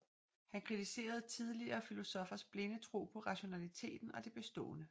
Han kritiserede tidligere filosoffers blinde tro på rationaliteten og det bestående